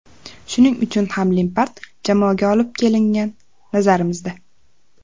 Shuning uchun ham Lempard jamoaga olib kelingan, nazarimizda.